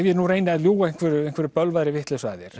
ég nú reyni að ljúga einhverri einhverri bölvaðri vitleysu að þér